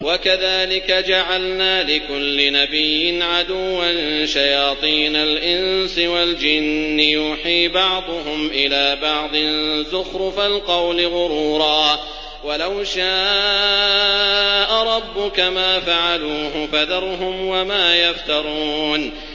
وَكَذَٰلِكَ جَعَلْنَا لِكُلِّ نَبِيٍّ عَدُوًّا شَيَاطِينَ الْإِنسِ وَالْجِنِّ يُوحِي بَعْضُهُمْ إِلَىٰ بَعْضٍ زُخْرُفَ الْقَوْلِ غُرُورًا ۚ وَلَوْ شَاءَ رَبُّكَ مَا فَعَلُوهُ ۖ فَذَرْهُمْ وَمَا يَفْتَرُونَ